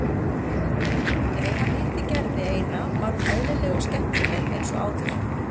En ef hann hitti Gerði eina var hún eðlileg og skemmtileg eins og áður.